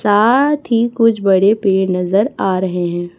साथ ही कुछ बड़े पेड़ नजर आ रहे हैं।